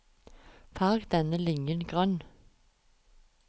Farg denne linjen grønn